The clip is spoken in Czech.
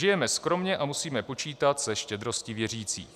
Žijeme skromně a musíme počítat se štědrostí věřících.